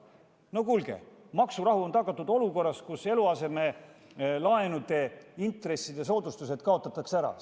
No kuulge, kas maksurahu on tagatud olukorras, kus eluasemelaenu intresside soodustused kaotatakse ära?